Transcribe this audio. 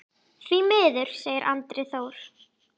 Því miður, segir Andri Þór.